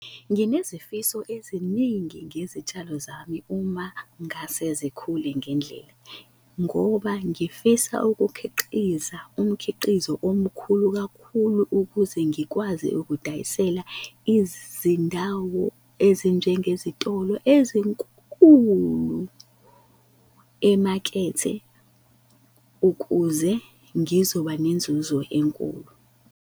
Nginesifiso eziningi ngezitshalo zami uma ngase zikhule ngendlela, ngoba ngifisa ukukhiqiza umkhiqizo omkhulu kakhulu ukuze ngikwazi ukudayisela izindawo ezinjengezitolo ezinkulu emakethe ukuze ngizoba nenzuzo enkulu.